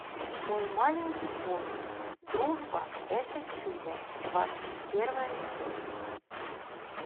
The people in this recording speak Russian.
мой маленький пони дружба это чудо двадцать первая часть